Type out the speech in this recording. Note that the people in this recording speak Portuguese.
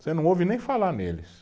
Você não ouve nem falar neles.